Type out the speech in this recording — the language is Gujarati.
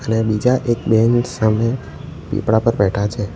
અને બીજા એક બેન સામે પીપળા પર બેઠા છે.